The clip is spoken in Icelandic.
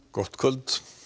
gott kvöld